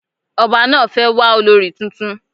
Ọba náà fẹ́ wà olorì tuntun